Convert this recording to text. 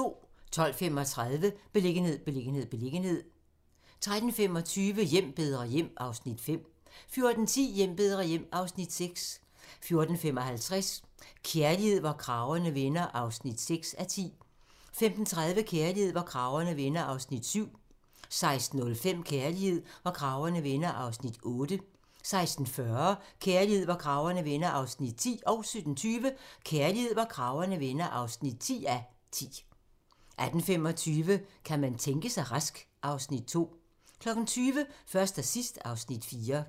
12:35: Beliggenhed, beliggenhed, beliggenhed 13:25: Hjem bedre hjem (Afs. 5) 14:10: Hjem bedre hjem (Afs. 6) 14:55: Kærlighed, hvor kragerne vender (6:10) 15:30: Kærlighed, hvor kragerne vender (7:10) 16:05: Kærlighed, hvor kragerne vender (8:10) 16:40: Kærlighed, hvor kragerne vender (9:10) 17:20: Kærlighed, hvor kragerne vender (10:10) 18:25: Kan man tænke sig rask? (Afs. 2) 20:00: Først og sidst (Afs. 4)